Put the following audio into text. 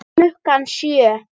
Klukkan sjö.